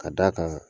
Ka d'a kan